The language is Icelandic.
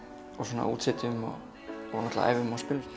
náttúrulega æfum og spilum